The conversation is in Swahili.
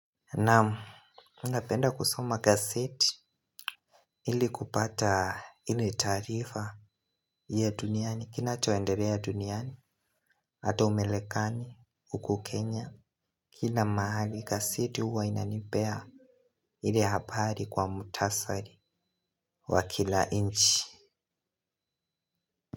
Naam, unapenda kusoma gazeti? Ili kupata ile taarifa ya duniani, kinachoendelea duniani, hata Umarekani, huku Kenya, kila mahali gazeti huwa inanipea ile habari kwa mhutasari wa kila nchi.